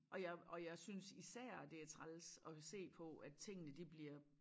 Og jeg og jeg synes især det er træls at se på at tingene de bliver